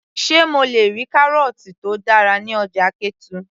sé mo le rí kárọ̀ọ̀tì tó dára ní ọjà ketu